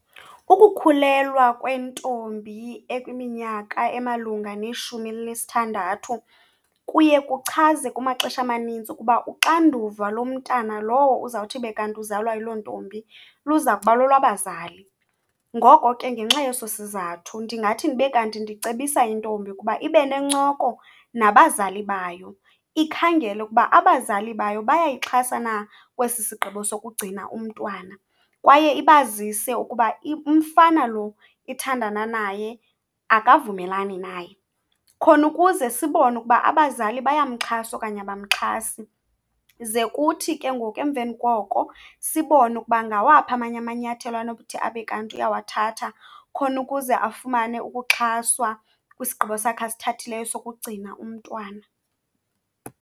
Ukukhulelwa kwentombi ekwiminyaka emalunga neshumi elinesithandathu kuye kuchaze kumaxesha amanintsi ukuba uxanduva lomntana lowo uzawuthi ibe kanti uzalwa yiloo ntombi luza kuba lolwabazali. Ngoko ke, ngenxa yeso sizathu ndingathi ndibe kanti ndicebisa intombi ukuba ibe nencoko nabazali bayo, ikhangele ukuba abazali bayo bayayixhasa na kwesi sigqibo sokugcina umntwana. Kwaye ibazise ukuba umfana lo ithandana naye akavumelani naye, khona ukuze sibone ukuba abazali bayamxhasa okanye abamxhasi. Ze kuthi ke ngoku emveni koko sibone ukuba ngawaphi amanye amanyathelo anokuthi abe kanti uyawathatha khona ukuze afumane ukuxhaswa kwisigqibo sakhe asithathileyo sokugcina umntwana.